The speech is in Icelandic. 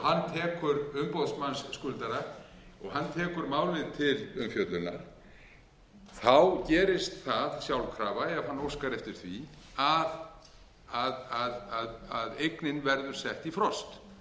umboðsmanns skuldara og hann tekur málið til umfjöllunar þá gerist það sjálfkrafa ef hann óskar eftir því að eignin verður sett í frost